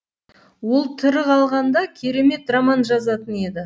ол тірі қалғанда керемет роман жазатын еді